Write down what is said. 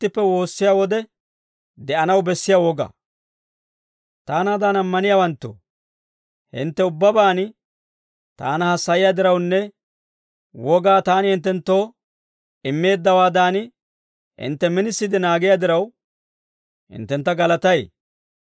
Taanaadan ammaniyaawanttoo, hintte ubbabaan taana hassayiyaa dirawunne, wogaa taani hinttenttoo immeeddawaadan, hintte minisiide naagiyaa diraw, hinttentta galatay.